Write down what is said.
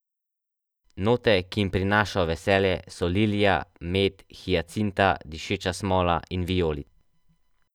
Note, ki jim prinašajo veselje, so lilija, med, hijacinta, dišeča smola in vijolica.